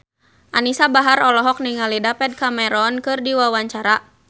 Anisa Bahar olohok ningali David Cameron keur diwawancara